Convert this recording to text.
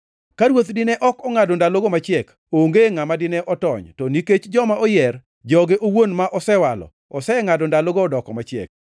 “Ka Ruoth dine ok ongʼado ndalogo machiek, onge ngʼama dine otony; to nikech joma oyier, joge owuon ma osewalo, osengʼado ndalogo odoko machiek.